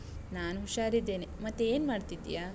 ನಾನ್ ಹುಷಾರಿದ್ದೇನೆ, ಮತ್ತೆ ಏನ್ ಮಾಡ್ತಿದೀಯಾ?